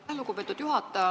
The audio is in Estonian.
Aitäh, lugupeetud juhataja!